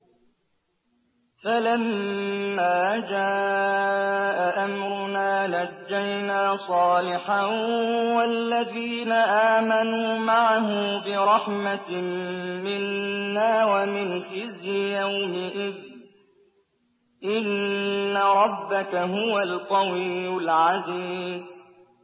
فَلَمَّا جَاءَ أَمْرُنَا نَجَّيْنَا صَالِحًا وَالَّذِينَ آمَنُوا مَعَهُ بِرَحْمَةٍ مِّنَّا وَمِنْ خِزْيِ يَوْمِئِذٍ ۗ إِنَّ رَبَّكَ هُوَ الْقَوِيُّ الْعَزِيزُ